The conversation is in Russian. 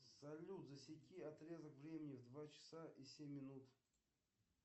салют засеки отрезок времени в два часа и семь минут